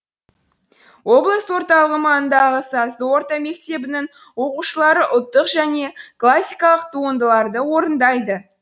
облыс орталығы маңындағы сазды орта мектебінің оқушылары ұлттық және классикалық туындыларды орындайды